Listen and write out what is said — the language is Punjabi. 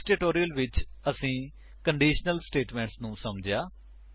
ਇਸ ਟਿਊਟੋਰਿਅਲ ਵਿੱਚ ਅਸੀਂ ਕੰਡੀਸ਼ਨਲ ਸਟੇਟਮੇਂਟਸ ਨੂੰ ਸਮਝਿਆ